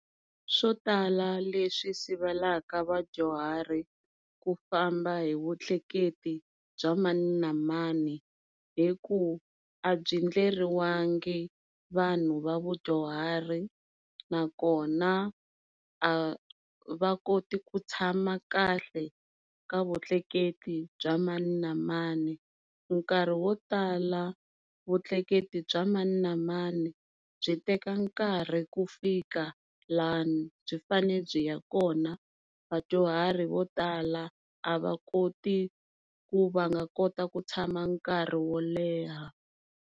Swo tala leswi sivelaka vadyuhari ku famba hi vutleketli bya mani na mani i ku a byi endleriwangi vanhu va vudyahari, nakona a va koti ku tshama kahle ka vutleketli bya mani na mani. Nkarhi wo tala vutleketli bya mani na mani byi teka nkarhi ku fika laha byi fane byi ya kona vadyuharhi vo tala a va koti ku va nga kota ku tshama nkarhi wo leha.